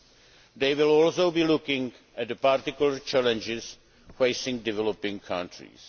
They will also be looking at the particular challenges facing developing countries.